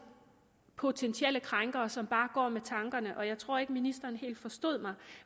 potentielle krænkere som bare går med tankerne jeg tror ikke ministeren helt forstod mig